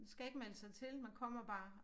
Skal ikke melde sig til man kommer bare